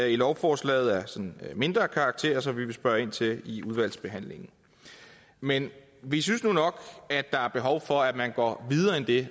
i lovforslaget af sådan mindre karakter som vi vil spørge ind til i udvalgsbehandlingen men vi synes nu nok at der er behov for at man går videre end det